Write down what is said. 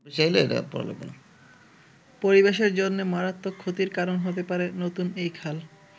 পরিবেশের জন্যে মারাত্মক ক্ষতির কারণ হতে পারে নতুন এই খাল।